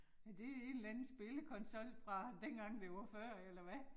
Er det en eller anden spillekonsol fra dengang det var før eller hvad